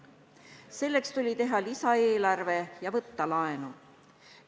Selleks tuli teha lisaeelarve ja võtta laenu.